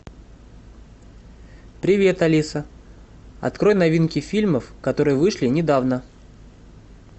привет алиса открой новинки фильмов которые вышли недавно